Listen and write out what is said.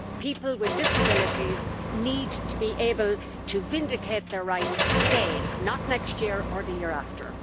People with disabilities need to be able to assert their rights today not next year or the year after.